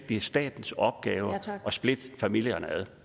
det er statens opgave at splitte familierne